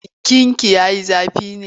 Jikinki ya yi zafi ne?